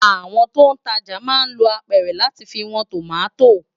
Awòn tó n tàjá má n ló ápèrè làtí fi wòn tómàtó